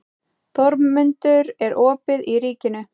Þórmundur, er opið í Ríkinu?